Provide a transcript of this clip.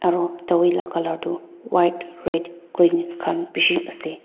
aro dawai la color tu white red green khan bishi ase.